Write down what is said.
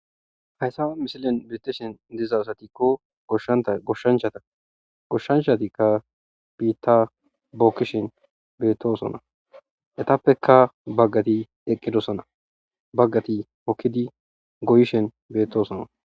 Hayissa missileni betishe dizayi aze giko goshanichata goshanichati bitta bokishe betosona ettapeka baggati eqidosona baggati hokidi goyishe betosona